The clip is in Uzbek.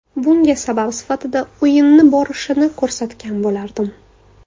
Bunga sabab sifatida o‘yinni borishini ko‘rsatgan bo‘lardim.